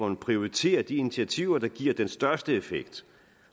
en prioritering af de initiativer der giver den største effekt